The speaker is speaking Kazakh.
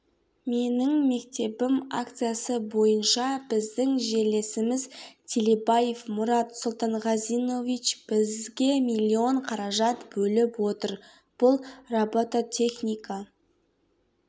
менің мектебім акциясы бойынша біздің жерлесіміз телебаев мұрат сұлтанғазинович бізге миллион қаражат бөліп отыр бұл робототехника